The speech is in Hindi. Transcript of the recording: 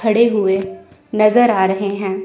खड़े हुए नजर आ रहे हैं।